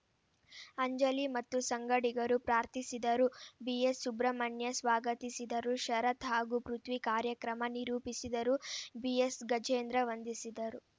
ಅಂಜಲಿ ಮತ್ತು ಸಂಗಡಿಗರು ಪ್ರಾರ್ಥಿಸಿದರು ಬಿಎಸ್‌ ಸುಬ್ರಮಣ್ಯ ಸ್ವಾಗತಿಸಿದರು ಶರತ್‌ ಹಾಗೂ ಪೃಥ್ವಿ ಕಾರ್ಯಕ್ರಮ ನಿರೂಪಿಸಿದರು ಬಿಎಸ್‌ಗಜೇಂದ್ರ ವಂದಿಸಿದರು